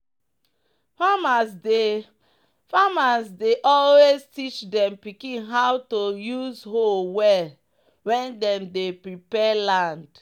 "farmers dey "farmers dey always teach dem pikin how to use hoe well when dem dey prepare land."